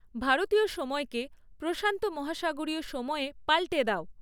ভারতীয় সময়কে প্রশান্ত মহাসাগরীয় সময়ে পাল্টে দাও